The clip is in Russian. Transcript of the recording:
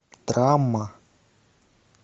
драма